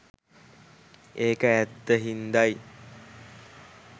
ඒක ඇත්ත හින්ද යි.